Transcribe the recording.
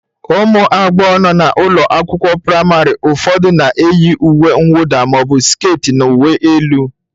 Ụmụ agbọghọ nọ n'ụlọ akwụkwọ praịmarị ụfọdụ na-eyi uwe mwụda ma ọ bụ skit na uwe elu